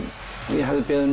ég hafði beðið